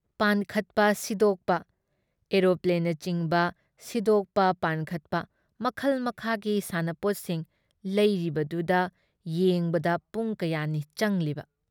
ꯄꯥꯟꯈꯠꯄ ꯁꯤꯗꯣꯛꯄ ꯑꯦꯔꯣꯄ꯭ꯂꯦꯟꯅꯆꯤꯡꯕ ꯁꯤꯗꯣꯛꯄ ꯄꯥꯟꯈꯠꯄ ꯃꯈꯜ ꯃꯈꯥꯒꯤ ꯁꯥꯟꯅꯄꯣꯠꯁꯤꯡ ꯂꯩꯔꯤꯕꯗꯨꯗ ꯌꯦꯡꯕꯗ ꯄꯨꯡ ꯀꯌꯥꯅꯤ ꯆꯪꯂꯤꯕ ꯫